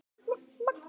Það er enginn heima.